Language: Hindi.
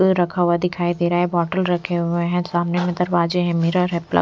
रखा हुआ दिखाई दे रहा है बोटल रखे हुए हैं सामने में दरवाजे हैं मिरर है--